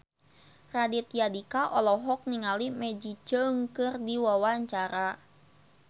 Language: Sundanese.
Raditya Dika olohok ningali Maggie Cheung keur diwawancara